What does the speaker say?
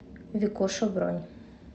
викуша бронь